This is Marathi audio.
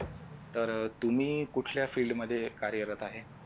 तर तुम्ही कुठल्या field मध्ये कार्यरत आहे.